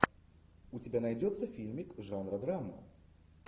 у тебя найдется фильмик жанра драма